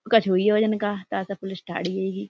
कुछ हुइयो जन का ताते पुलिस ठाणे हेंगी।